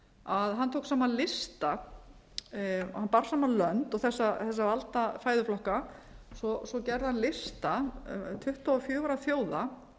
að hann tók saman lista hann bar saman lönd um þessa valda fæðuflokka svo gerði hann lista tuttugu og fjögurra þjóða